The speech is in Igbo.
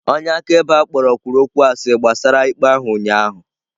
Onye akaebe a kpọrọ kwuru okwụ asị gbasara ikpe ahụ ụnyahụ.